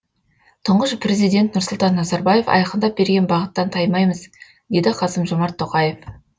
тұңғыш президент нұрсұлтан назарбаев айқындап берген бағыттан таймаймыз деді қасым жомарт тоқаев